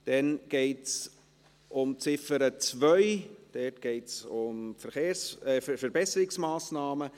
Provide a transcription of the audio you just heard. Wir kommen zur Ziffer 2, dort geht es um die Verbesserungsmassnahmen.